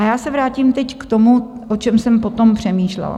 A já se teď vrátím k tomu, o čem jsem potom přemýšlela.